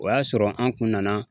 O y'a sɔrɔ an kun nana